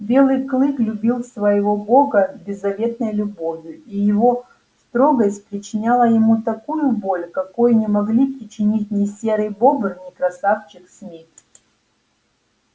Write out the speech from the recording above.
белый клык любил своею бога беззаветной любовью и его строгость причиняла ему такую боль какой не могли причинить ни серый бобр ни красавчик смит